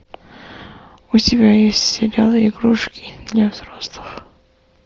у тебя есть сериал игрушки для взрослых